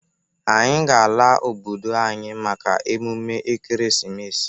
Anyi ga-ala obodo anyị maka emume Ekeresimesi.